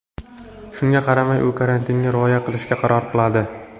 Shunga qaramay, u karantinga rioya qilishga qaror qiladi.